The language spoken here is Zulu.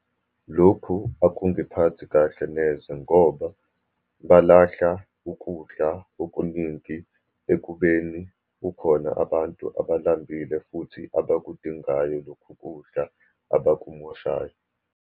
Lokhu akungiphathi kahle neze, ngoba balahla ukudla okuningi ekubeni kukhona abantu abalambile, futhi abakudingayo lokhu kudla abakumoshayo.